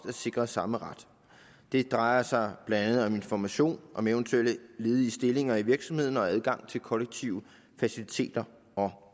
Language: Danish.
er sikret samme ret det drejer sig blandt andet om information om eventuelle ledige stillinger i virksomheden og adgang til kollektive faciliteter og